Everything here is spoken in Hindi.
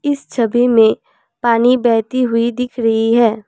इस छवि में पानी बहती हुई दिख रही है।